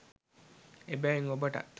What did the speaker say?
එබැවින් ඔබටත්